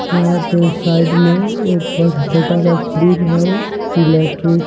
यहाँ पे साइड में एक बहुत ही छोटा सा फ्रिज है इलेक्ट्रिक --